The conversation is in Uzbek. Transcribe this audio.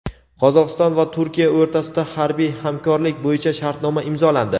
Qozog‘iston va Turkiya o‘rtasida harbiy hamkorlik bo‘yicha shartnoma imzolandi.